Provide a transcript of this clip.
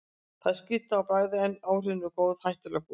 Það er skrýtið á bragðið, en áhrifin eru góð, hættulega góð.